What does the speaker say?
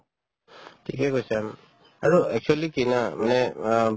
ঠিকে কৈছা উম আৰু actually কি না মানে অৱ